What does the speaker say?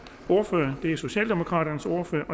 ordfører er socialdemokraternes ordfører